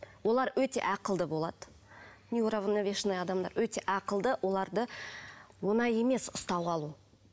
олар өте ақылды болады неуравновешанный адамдар өте ақылды оларды оңай емес ұстап алу